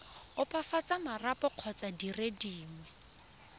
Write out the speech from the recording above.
opafatsa marapo kgotsa dire dingwe